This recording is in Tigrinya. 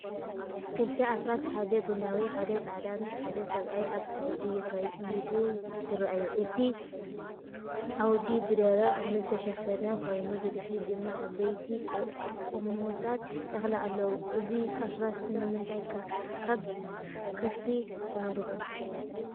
ክልተ ኣፍራስ (ሓደ ቡናዊ ሓደ ጻዕዳ) ምስ ሓደ ሰብኣይ ኣብ ዓውዲ የኽይዱ ይረኣዩ። እቲ ዓውዲ ብደረቕ እኽሊ ዝተሸፈነ ኮይኑ ብድሕሪት ድማ ዓበይቲ ቁሚቶታት እኽሊ ኣለዉ። እዞም ኣፍራስ ንምንታይ ካብ ከፍቲ ተመሪፆም?